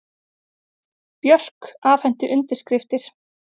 Björk afhenti undirskriftir